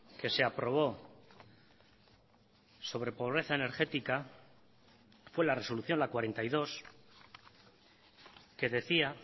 que se aprobó sobre pobreza energética fue la resolución la cuarenta y dos que decía